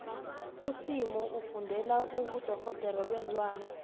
usimo ufundela ubudorhodere beenlwane